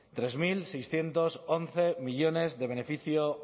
tres mil seiscientos once millónes de beneficio